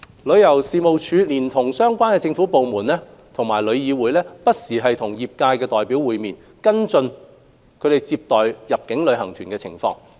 旅遊事務署連同相關政府部門及旅議會不時與業界代表會面，跟進其接待入境旅行團的情況。